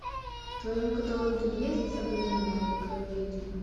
в твоем каталоге есть сабрина маленькая ведьма